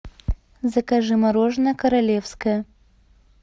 закажи мороженое королевское